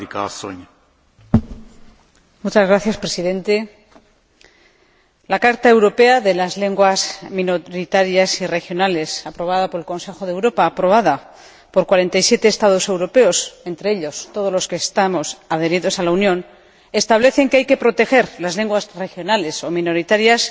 Señor Presidente, la Carta europea de las lenguas minoritarias y regionales, aprobada por el Consejo de Europa, aprobada por 47 Estados europeos, entre ellos todos los que estamos adheridos a la Unión, establece que hay que proteger las lenguas regionales o minoritarias,